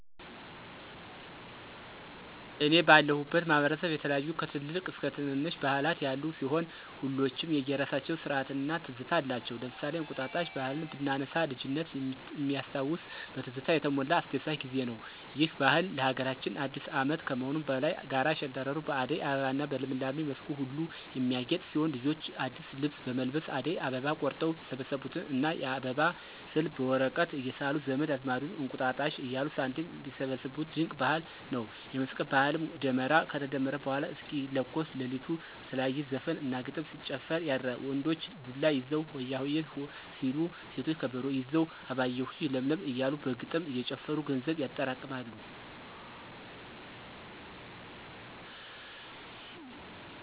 እኔ ባለሁበት ማህበረሰብ የተለያዩ ከትልልቅ እስከ ትነነሽ ባህላት ያሉ ሲሆን ሁሎችም የየራሳቸው ስርአት እና ትዝታ አላቸው። ለምሳሌ እንቁጣጣሽ ባህልን ብናነሳ ልጅነት ሚያስታውስ በትዝታ የተሞላ አስደሳች ጊዜ ነው። ይህ ባህል ለሀገራችን አዲስ አመት ከመሆኑም በላይ ጋራ ሸንተረሩ በአደይ አበባ እና በልምላሜ መስኩ ሁሉ የሚያጌጥ ሲሆን ልጆች አዲስ ልብስ በመልበስ አደይ አበባ ቆርጠው የሰበሰቡትን እና የአበባ ስዕል በወረቀት እየሳሉ ዘመድ አዝማዱን እንቁጣጣሽ እያሉ ሳንቲም ሚሰበስቡት ድንቅ ባህል ነው። የመስቀል ባህልም ደመራ ከተደመረ በኃላ እስኪለኮስ ለሊቱን በተለያየ ዘፈን እና ግጥም ሲጨፈር ያድራል። ወንዶች ዱላ ይዘው ሆያሆየ... ሆ ሲሉ ሴቶች ከበሮ ይዘው አበባየሁሽ ለምለም እያሉ በግጥም እየጨፈሩ ገንዘብ ያጠራቅማሉ።